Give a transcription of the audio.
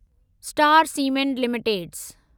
star Cement limited